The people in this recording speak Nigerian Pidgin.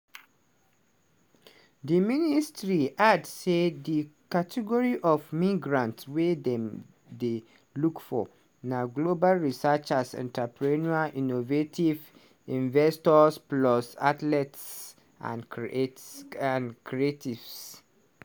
di ministry add say di category of migrants wey dem dey look for na global researchers entrepreneurs innovative investors plus athletes and creata creatives.